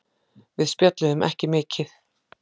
Við spjölluðum ekki mikið.